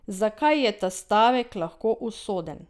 Zakaj je ta stavek lahko usoden?